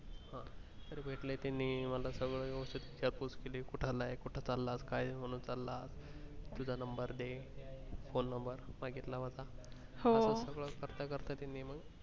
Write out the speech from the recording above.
ते भेटले त्यानी मी सगळं जासूस केली कुटालाय कुठे चालाय काय मानून चाला तुझा number दे phone number मागितला माझा हो असं सगळं करता करता त्यानी मग.